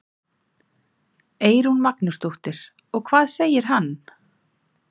Eyrún Magnúsdóttir: Og hvað segir hann?